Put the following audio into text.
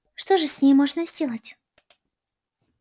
что же с ней можно сделать